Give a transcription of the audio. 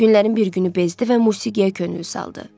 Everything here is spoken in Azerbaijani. Günlərin bir günü bezdi və musiqiyə könül saldı.